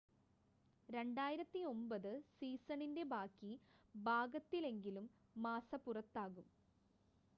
2009 സീസണിൻ്റെ ബാക്കി ഭാഗത്തിലെങ്കിലും മാസ്സ പുറത്താകും